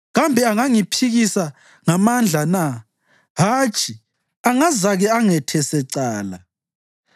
Kambe angangiphikisa ngamandla na? Hatshi, angazake angethese cala.